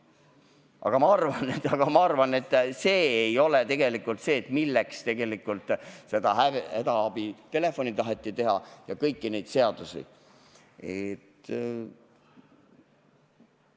Aga ma arvan, et see ei ole see, milleks tegelikult seda hädaabitelefoni ja kõiki neid seadusi teha taheti.